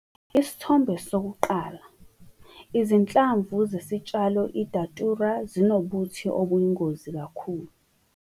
Isithombe 1- Izinhlamvu zesitshalo iDatura zinobuthi obuyingozi kakhulu.